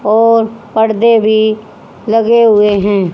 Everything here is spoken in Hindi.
और पड़दे भी लगे हुए हैं।